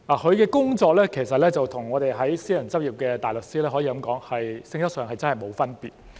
他的工作與私人執業的大律師的工作，性質上可以說是沒有分別。